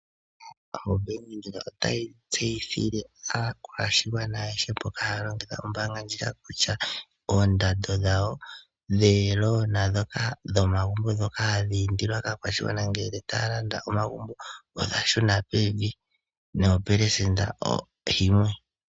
OBank Windhoek otayi tseyithile aakwashigwana ayehe mboka haya longitha ombaanga ndjika kutya oondando dhawo dhomikuli dhomagumbo ndhoka hadhi indilwa kaakwashigwana ngele taya landa omagumbo odha shuna pevi nopelesenda yimwe.